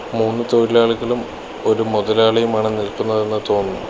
മൂന്നു തൊഴിലാളികളും ഒരു മൊതലാളിയുമാണ് നിൽക്കുന്നതെന്ന് തോന്നുന്നു.